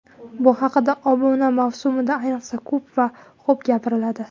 Bu haqda obuna mavsumida ayniqsa, ko‘p va xo‘p gapiriladi.